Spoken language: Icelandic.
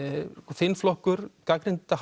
þinn flokkur gagnrýndi